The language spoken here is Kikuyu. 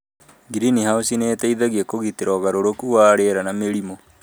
ngirinihaũci nĩ ĩteithagia kũgitĩra ũgarũrũku wa rĩera na mĩrimũ